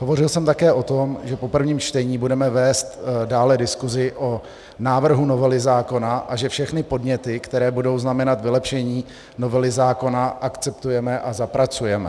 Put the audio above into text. Hovořil jsem také o tom, že po prvním čtení budeme vést dále diskusi o návrhu novely zákona a že všechny podněty, které budou znamenat vylepšení novely zákona, akceptujeme a zapracujeme.